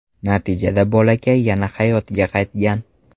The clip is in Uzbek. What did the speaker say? Natijada bolakay yana hayotga qaytgan.